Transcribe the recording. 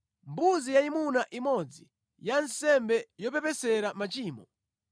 mbuzi yayimuna imodzi ya nsembe yopepesera machimo;